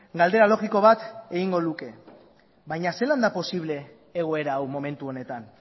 galdera logiko bat egingo luke baina zelan da posible egoera hau momentu honetan